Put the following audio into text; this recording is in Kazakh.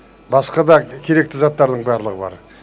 басқа да керекті заттардың барлығы бар